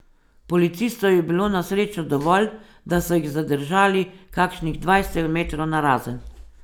Policistov je bilo na srečo dovolj, da so jih zadržali kakšnih dvajset metrov narazen.